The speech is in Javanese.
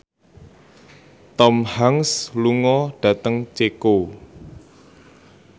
Tom Hanks lunga dhateng Ceko